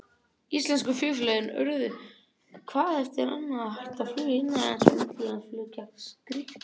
Íslensku flugfélögin urðu hvað eftir annað að hætta flugi innanlands, og millilandaflug gekk skrykkjótt.